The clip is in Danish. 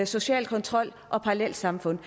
social kontrol og parallelsamfund